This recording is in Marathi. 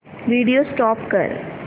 व्हिडिओ स्टॉप कर